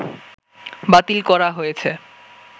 বাতিল করা হয়েছে